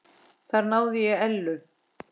Þar náði ég Ellu.